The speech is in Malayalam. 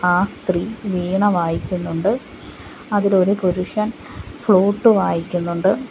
ആ സ്ത്രീ വീണ വായിക്കുന്നുണ്ട് അതിൽ ഒരു പുരുഷൻ ഫ്ലൂട്ട് വായിക്കുന്നുണ്ട്.